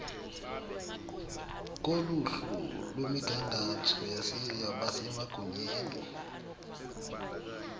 koluhlu lwemigangatho yabasemagunyeni